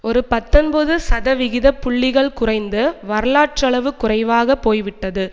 ஒரு பத்தொன்பது சதவிகித புள்ளிகள் குறைந்து வரலாற்றளவு குறைவாக போய்விட்டது